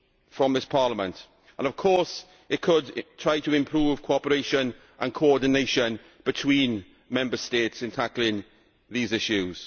from this Parliament and of course it could try to improve cooperation and coordination between Member States in tackling these issues.